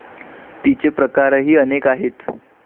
तिचे प्रकारही अनेक आहेत.